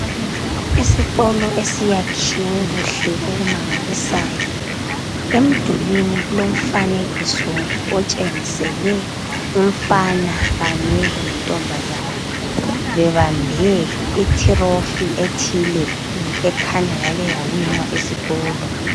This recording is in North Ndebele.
Isikolo esiyakhiwe kuhle okumangalisayo emdulwini kulomfanekiso otshengisele umfana kanye lentombazana bebambe i"trophy" ethile ekhanya yake yawinwa esikolo.